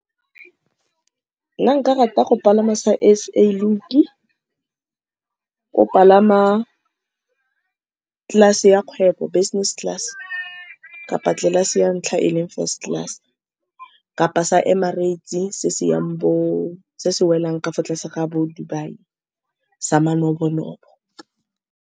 Nna nka rata go palama sa SA link-i, o palama class-e ya kgwebo business class-e kapa tlelase ya ntlha e e leng first class-e, kapa sa Emirates se se yang bo, se se welang ka fa tlase ga bo-Dubai, sa manobo-nobo.